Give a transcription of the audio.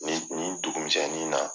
Ni nin dugumisɛnɛnnin na